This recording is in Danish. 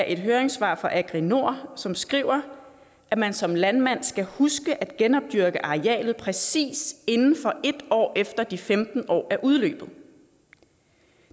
et høringssvar fra agri nord som skriver at man som landmand skal huske at genopdyrke arealet præcis inden for en år efter at de femten år er udløbet